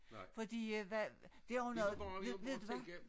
Fordi øh hvad det har jo noget ved ved du hvad